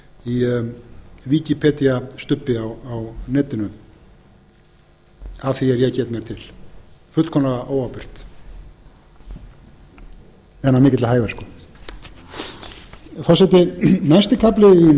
í wikipedíu stubbi á netinu að því er ég get mér til fullkomlega óábyrgt en af mikilli hæversku forseti næsti kafli í